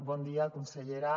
bon dia consellera